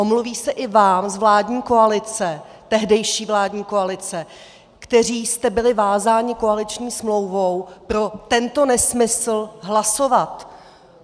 Omluví se i vám z vládní koalice, tehdejší vládní koalice, kteří jste byli vázáni koaliční smlouvou pro tento nesmysl hlasovat.